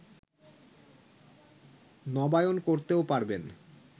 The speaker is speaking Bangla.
নবায়ন করতেও পারবেন